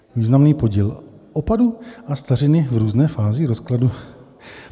Významný podíl opadu a stařiny v různé fázi rozkladu.